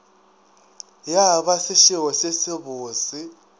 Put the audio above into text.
ya ba sešebo se sebose